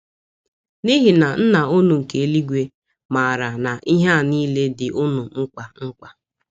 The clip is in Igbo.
N’ihi na Nna unu nke eluigwe maara na ihe a niile dị unu mkpa mkpa.